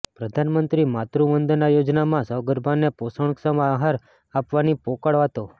પ્રધાનમંત્રી માતૃ વંદના યોજનામાં સગર્ભાને પોષણક્ષમ આહાર આપવાની પોકળ વાતો